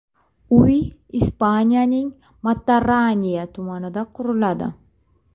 Uy Ispaniyaning Matarraniya tumanida quriladi.